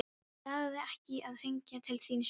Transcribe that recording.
Hann lagði ekki í að hringja til þín sjálfur.